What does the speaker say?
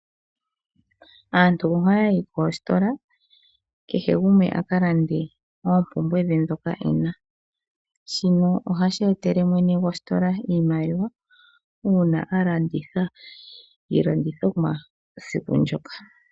Aantu ohaya yi koositola kehe gumwe a ka lande oompumbwe dhe ndhoka e na. Shino ohashi etele mwene gwositola iimaliwa uuna a landitha iilandithomwa esiku ndyoka.